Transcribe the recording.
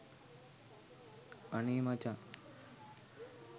අනේ මචං